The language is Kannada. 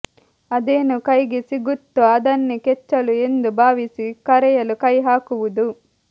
ಅದೇನು ಕೈಗೆ ಸಿಗುತ್ತೋ ಅದನ್ನೇ ಕೆಚ್ಚಲು ಎಂದು ಭಾವಿಸಿ ಕರೆಯಲು ಕೈ ಹಾಕುವುದು